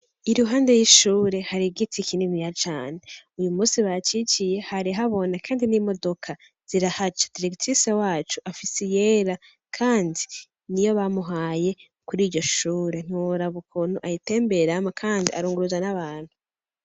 Iruhande yishuri hari igiti kininiya cane ,Uyu munsi baciciye hari habona kandi n'imodoka zirahaca ,Deregitirise wacu afise iyera kandi niyo bamuhaye kuriryo shure ntiworaba ukuntu ayitemberamwo kandi arunguruza n'abantu.